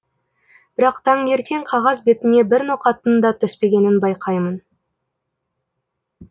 бірақ таңертең қағаз бетіне бір ноқаттың да түспегенін байқаймын